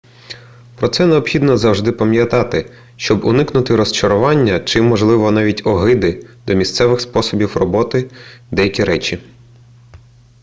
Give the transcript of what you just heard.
про це необхідно завжди пам'ятати щоб уникнути розчарування чи можливо навіть огиди до місцевих способів робити деякі речі